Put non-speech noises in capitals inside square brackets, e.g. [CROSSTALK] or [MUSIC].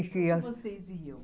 [UNINTELLIGIBLE] Vocês iam?